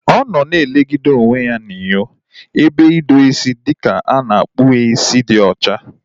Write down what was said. Ọ nọ na elegide onwe ya anya n'inyo ebe idozi isi dịka a na-akpụ ya isi dị ocha